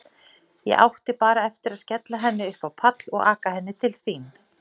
Ég átti bara eftir að skella henni upp á pall og aka henni til þín.